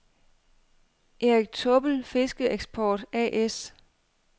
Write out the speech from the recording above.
Erik Taabbel Fiskeeksport A/S